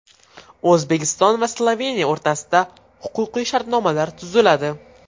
O‘zbekiston va Sloveniya o‘rtasida huquqiy shartnomalar tuziladi.